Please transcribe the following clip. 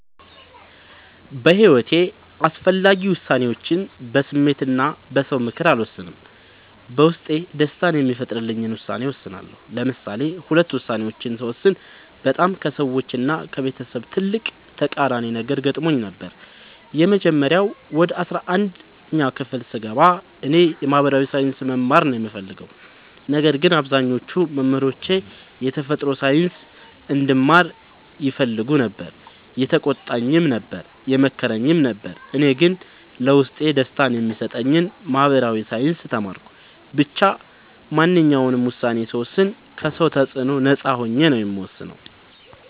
በሒወቴ አስፈላጊ ወሳኔዎችን በስሜት እና በ ሰው ምክር አልወሰንም። በውስጤ ደስታን የሚፈጥርልኝን ውሳኔ እወስናለሁ። ለምሳሌ ሁለት ውሳኔዎችን ስወስን በጣም ከሰዎች እና ከቤተሰብ ትልቅ ተቃራኒ ነገር ገጥሞኝ ነበር። የመጀመሪያው ወደ አስራአንድ ክፍል ስገባ እኔ የ ማህበራዊ ሳይንስ መማር ነው የምፈልገው። ነገር ግን አብዛኞቹ መምህሮቼ የተፈጥሮ ሳይንስ እንድማር ይፈልጉ ነበር የተቆጣኝም ነበር የመከረኝም ነበር እኔ ግን ለውስጤ ደስታን የሚሰጠኝን ማህበራዊ ሳይንስ ተማርኩ። ብቻ ማንኛውንም ውሳኔ ስወስን ከ ሰው ተፅዕኖ ነፃ ሆኜ ነው የምወስነው።